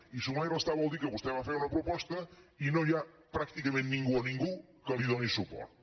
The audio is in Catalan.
i sumar i restar vol dir que vostè va fer una proposta i no hi ha pràcticament ningú o ningú que li doni suport